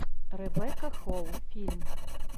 ребекка холл фильм